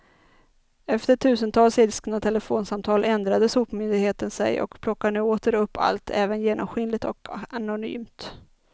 Efter tusentals ilskna telefonsamtal ändrade sopmyndigheten sig och plockar nu åter upp allt, även genomskinligt och anonymt.